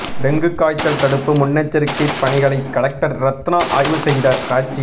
dengue காய்ச்சல் தடுப்பு முன்னெச்சரிக்கை பணிகளை கலெக்டர் ரத்னா ஆய்வு செய்த காட்சி